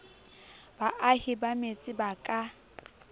baahi ba metse ba ka